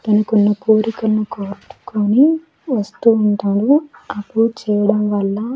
తనకు ఉన్న కోరికలను కొట్టుకొని వస్తూ ఉంటాడు అప్పుడు చేయడం వల్ల.